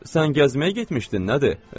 Sən gəzməyə getmişdin, nədir?